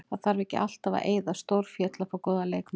Það þarf ekki alltaf að eyða stórfé til að fá góða leikmenn.